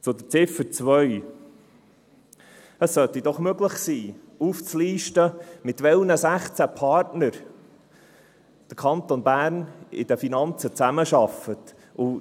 Zu Ziffer 2: Es sollte doch möglich sein, aufzulisten, mit welchen 16 Partnern der Kanton Bern in den Finanzen zusammenarbeitet.